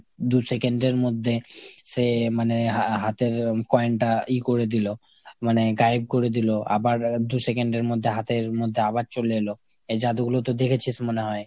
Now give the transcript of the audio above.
দু'second এর মধ্যে সে মানে হা~ হাতের coin টা ই করে দিলো। মানে গায়েব করে দিলো আবার দু'second এর মধ্যে হাতের মধ্যে আবার চলে এলো। এই জাদুগুলো তো দেখেছিস মনে হয় ?